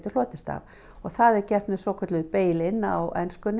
hljótast af og það er gert með svokölluðu bail in á ensku